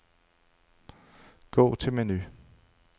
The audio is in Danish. Gå til menu.